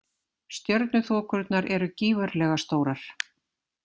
Stjörnuþokurnar eru gífurlega stórar.